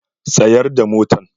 Tsayar da motan!